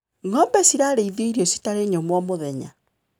Ngombe cirarĩithio irio citarĩ nyũmũ o mũthenya.